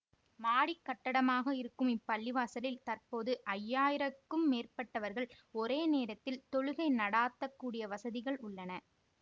மாடிக்கட்டடமாக இருக்கும் இப்பள்ளிவாசலில் தற்போது ஐந்து ஆயிரம் க்கு மேற்பட்டவர்கள் ஒரே நேரத்தில் தொழுகை நடாத்தக்கூடிய வசதிகள் உள்ளன